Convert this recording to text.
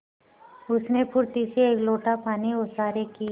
उसने फुर्ती से एक लोटा पानी ओसारे की